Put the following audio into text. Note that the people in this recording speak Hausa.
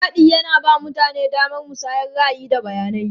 Taɗi yana ba mutane damar musayar ra'ayi, da bayanai.